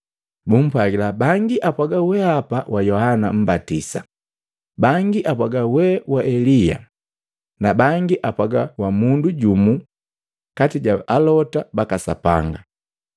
Bumpwagila, “Bangi apwaga we wa Yohana Mmbatisa, bangi apwaga we wa Elia na bangi apwaga wa mundu jumu kati ja Alota baka Sapanga.”